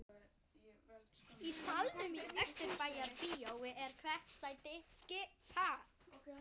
Í salnum í Austurbæjarbíói er hvert sæti skipað.